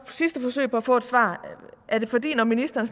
sidste forsøg på at få et svar er det fordi når ministeren